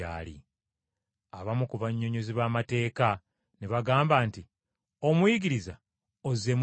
Abamu ku bannyonnyozi b’amateeka ne bagamba nti, “Omuyigiriza, ozzeemu bulungi!”